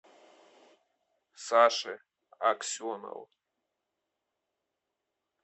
саше аксенову